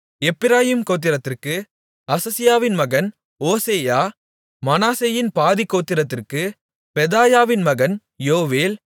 எப்பிராயீம் கோத்திரத்திற்கு அசசியாவின் மகன் ஓசெயா மனாசேயின் பாதிக்கோத்திரத்திற்கு பெதாயாவின் மகன் யோவேல்